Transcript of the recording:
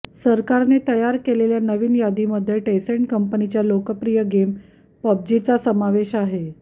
सरकारने तयार केलेल्या नवीन यादीमध्ये टेंसेंट कंपनीच्या लोकप्रिय गेम पब्जीचा समावेश आहे